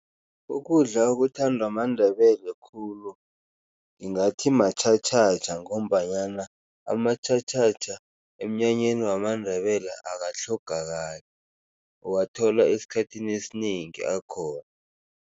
Ukudla okuthandwa maNdebele khulu ngingathi matjhatjhatjha ngombanyana amatjhatjhatjha emnyanyeni wamaNdebele akatlhogakali, uwathola esikhathini esinengi akhona.